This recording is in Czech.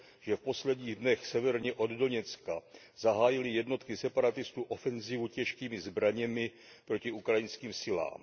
že v posledních dnech severně od Doněcka zahájily jednotky separatistů ofenzívu těžkými zbraněmi proti ukrajinským silám.